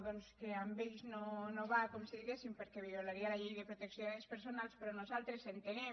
doncs que amb ells no va com si diguéssim perquè violaria la llei de protecció de dades personals però nosaltres entenem